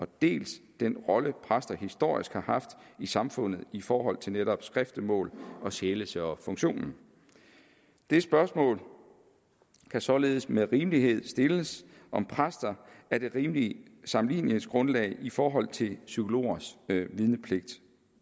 dels den rolle præster historisk har haft i samfundet i forhold til netop skriftemål og sjælesørgerfunktionen det spørgsmål kan således med rimelighed stilles om præster er det rimelige sammenligningsgrundlag i forhold til psykologers vidnepligt